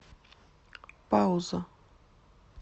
пауза